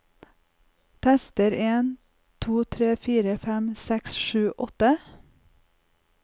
Tester en to tre fire fem seks sju åtte